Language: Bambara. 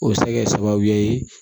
O bɛ se kɛ sababu ye